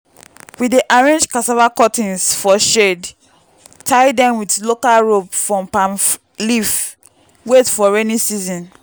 we dey arrange cassava cuttings for shade tie dem with local rope from palm leaf wait for rainy season.